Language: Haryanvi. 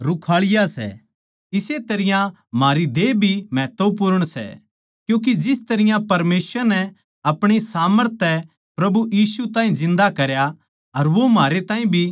इस्से तरियां म्हारी देह भी महत्वपूर्ण सै क्यूँके जिस तरियां परमेसवर नै अपणी सामर्थ तै प्रभु यीशु ताहीं जिन्दा करया अर वो म्हारै ताहीं भी जिन्दा करैगा